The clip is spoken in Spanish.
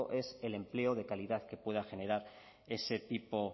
es el empleo de calidad que pueda generar ese tipo